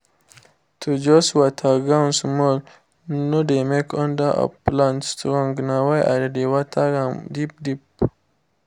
to just water ground small no dey make under of plant strong na why i dey water am deep deep